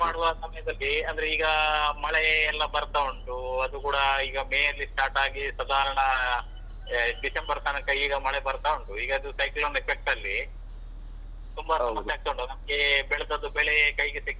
ಮಾಡುವ ಸಮಯದಲ್ಲಿ ಅಂದ್ರೆ ಈಗ ಮಳೆಯೆಲ್ಲ ಬರ್ತಾ ಉಂಟು ಅದು ಕೂಡ ಈಗ May ಯಲ್ಲಿ start ಆಗಿ ಸಾಧಾರಣಾ December ತನಕ ಈಗ ಮಳೆ ಬರ್ತಾ ಉಂಟು, ಈಗ ಅದು cyclone effect ತುಂಬಾ ಸಮಸ್ಯೆ ಆಗ್ತಾ ಉಂಟು. ನಮ್ಗೆ ಬೆಳ್ದದ್ದು ಬೆಳೆ ಕೈಗೆ.